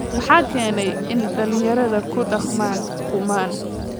Maxaa keenaya in dhallinyarada ku dhaqmaan kumaan?